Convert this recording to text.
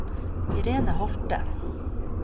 Irene Holthe